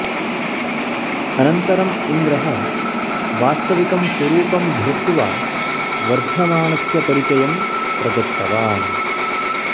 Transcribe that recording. अनन्तरम् इन्द्रः वास्तविकं स्वरूपं धृत्वा वर्धमानस्य परिचयं प्रदत्तवान्